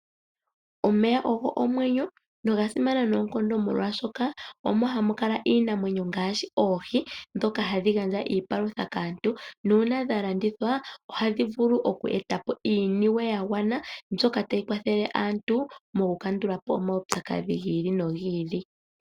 Omeya ogo omwenyo noga simana noonkondo molwaashoka omo hamu kala iinamwenyo ngaashi oohi, ndhoka hadhi gandja iipalutha kaantu, nuuna dha landithwa ohadhi vulu okweeta po iiniwe ya gwana mbyoka tayi kwathele aantu moku kandula po omaupyakadhi gi ili nogi ili.